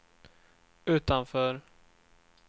utanför